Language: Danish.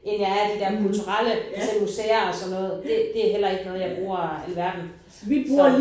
End jeg er af det der kulturelle altså museer og sådan noget det det er heller ikke noget jeg bruger alverden så